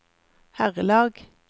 herrelag